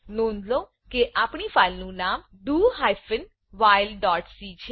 નોંધ લો કે આપણી ફાઈલ નું નામ do hyphen while dot c છે